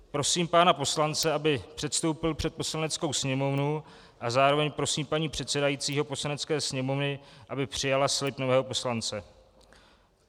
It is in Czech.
Prosím pana poslance, aby předstoupil před Poslaneckou sněmovnu, a zároveň prosím paní předsedající Poslanecké sněmovny, aby přijala slib nového poslance.